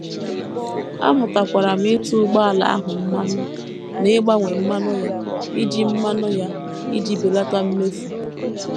Amụtakwara m ịtụ ụgbọala ahụ mmanụ na ịgbanwe mmanụ ya iji mmanụ ya iji belata mmefu.